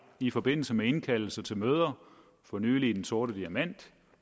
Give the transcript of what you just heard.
i forbindelse med indkaldelse til møder for nylig i den sorte diamant